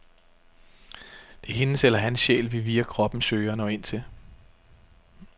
Det er hendes eller hans sjæl, vi via kroppen søger at nå ind til.